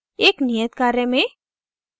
एक नियत कार्य में